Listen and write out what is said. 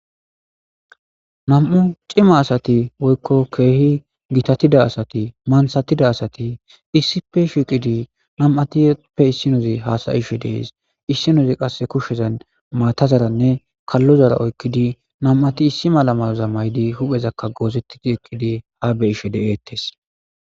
Na'u cima asati woyko gitatida asati manthatida asati issippe shiqidi nam'atuppe issinozi haasayishe dees. Issinozi qasseka kushezan maatazaranne kallozara oykidi nam'ati issi mala mayo mayidi issippe eqidi de'etees.